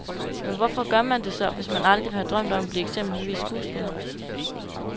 Men hvorfor gør man det så, hvis man aldrig har drømt om at blive eksempelvis skuespiller?